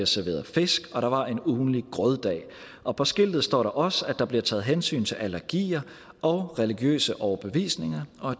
serveret fisk og der var også en ugentlig grøddag og på skiltet stod der også at der blev taget hensyn til allergier og religiøse overbevisninger og